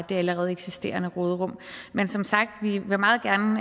det allerede eksisterende råderum men som sagt vil vi meget gerne